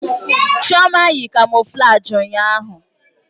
Chioma yi kamoflaji ụnyahụ.